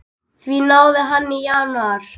Því náði hann í janúar.